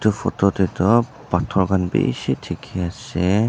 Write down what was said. Tu photo tey tu pathor khan beshi dekhi ase.